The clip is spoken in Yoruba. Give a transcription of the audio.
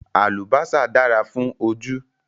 Àlùbásà dára fún ojú